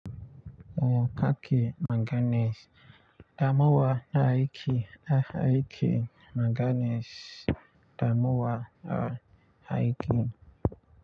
Yanka ke manganese, damuwa na aiki da aiki manganese, damuwa a aiki.